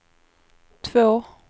två